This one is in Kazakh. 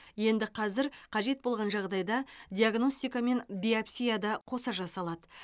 енді қазір қажет болған жағдайда диагностикамен биопсия да қоса жасалады